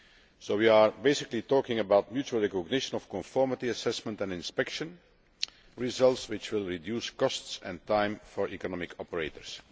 So we are basically talking about mutual recognition of conformity assessment and inspection, results which will reduce costs and time for economic operators.